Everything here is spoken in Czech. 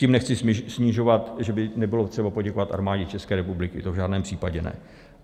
Tím nechci snižovat, že by nebylo třeba poděkovat Armádě České republiky, to v žádném případě ne.